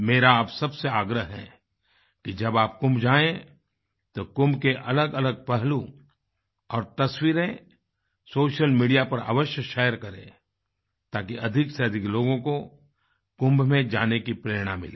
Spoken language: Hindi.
मेरा आप सब से आग्रह है कि जब आप कुंभ जाएं तो कुंभ के अलगअलग पहलू और तस्वीरें सोशल मीडिया पर अवश्य शेयर करें ताकि अधिकसेअधिक लोगों को कुंभ में जाने की प्रेरणा मिले